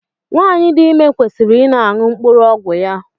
Nwanyi dị ime kwesịrị I na aṅụ mkpụrụ ọgwụ ya.